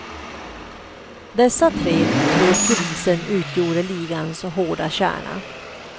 Dessa tre tror polisen utgjorde ligans hårda kärna.